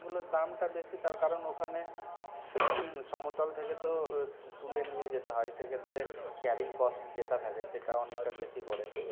ওগুলোর দামটা বেশি তার কারণ ওখানে সমতল থেকে তো তুলে নিয়ে যেতে হয় সেক্ষেত্রে carrying cost যেটা থাকে সেটা অনেকটা বেশি পড়ে